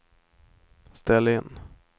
ställ in